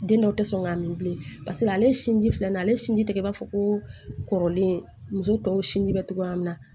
Den dɔw tɛ sɔn k'a min bilen paseke ale ye sinji filanan ale sinji tɛgɛ b'a fɔ ko kɔrɔlen muso tɔw sinji bɛ togoya min na